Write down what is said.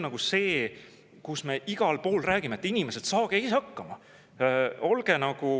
Ja siis me igal pool räägime, et, inimesed, saage ise hakkama!